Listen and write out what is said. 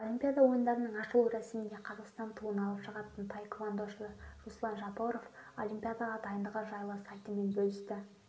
олимпиада ойындарының ашылу рәсімінде қазақстан туын алып шығатын таеквандошы руслан жапоров олимпиадаға дайындығы жайлы сайтымен бөлісті